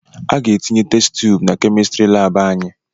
Aga etinye test tuubu na Kemịstrị laabụ anyị.